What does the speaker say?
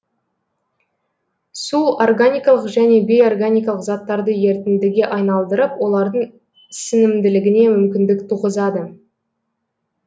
су органикалық және бейорганикалық заттарды ерітіндіге айналдырып олардың сіңімділігіне мүмкіндік туғызады